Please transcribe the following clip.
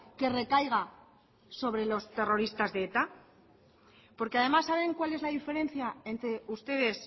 que recaiga sobre los terroristas de eta porque además saben cuál es la diferencia entre ustedes